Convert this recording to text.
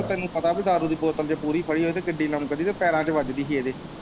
ਤੈਨੂੰ ਪਤਾ ਪੀ ਦਾਰੂ ਦੀ ਬੋਤਲ ਜੇ ਪੂਰੀ ਫੜੀ ਹੋਵੇ ਕਿੱਡੀ ਲਮਕਦੀ ਤੇ ਪੈਰਾਂ ਚ ਵੱਜਦੀ ਹੀ ਏਦੇ।